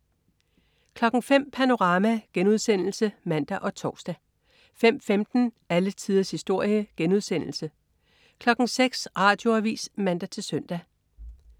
05.00 Panorama* (man og tors) 05.15 Alle tiders historie* 06.00 Radioavis (man-søn)